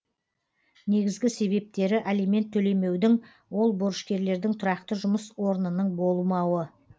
негізгі себептері алимент төлемеудің ол борышкерлердің тұрақты жұмыс орынының болмауы